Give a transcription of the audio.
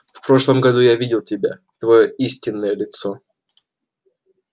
в прошлом году я видел тебя твоё истинное лицо